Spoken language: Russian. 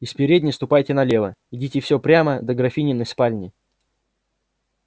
из передней ступайте налево идите все прямо до графининой спальни